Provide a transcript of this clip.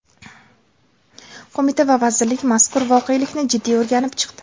Qo‘mita va vazirlik mazkur voqelikni jiddiy o‘rganib chiqdi.